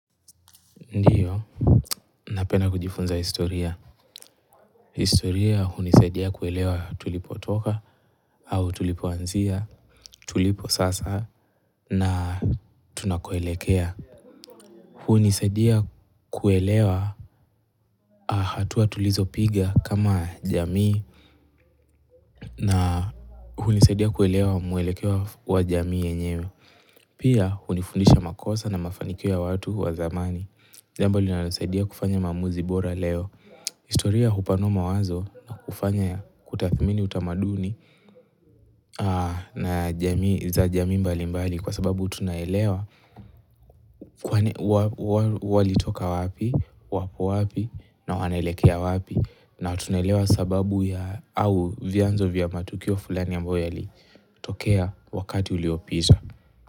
Ndiyo, napenda kujifunza historia. Historia hunisadia kuelewa tulipotoka, au tulipoanzia, tulipo sasa, na tunakoelekea. Hunisadia kuelewa hatua tulizopiga kama jamii, na hunisadia kuelewa mwelekeo wa jamii yenyewe. Pia, hunifundisha makosa na mafanikio ya watu wa zamani. Jambo linalonisaidia kufanya maamuzi bora leo historia hupanua mawazo na kufanya kutathmini utamaduni za jamii mbali mbali kwa sababu utunaelewa kuwa wali toka wapi, wapo wapi na wanaelekea wapi na tunaelewa sababu ya au vianzo vya matukio fulani ya ambayo yalitokea wakati uliopita.